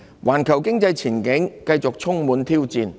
環球經濟前景繼續充滿挑戰。